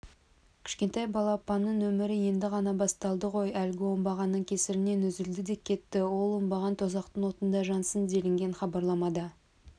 кішкентай балапанның өмірі енді ғана басталды ғой әлгі оңбағанның кесірінен үзілді де кетті ол оңбаған тозақтың отында жансын делінген хабарламада